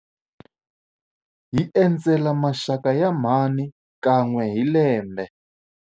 Hi endzela maxaka ya mhani kan'we hi lembe.